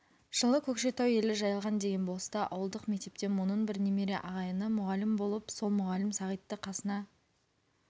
жылы көкшетау елі жайылған деген болыста ауылдық мектепте мұнын бір немере ағайыны мұғалім болып сол мұғалім сағитты қасына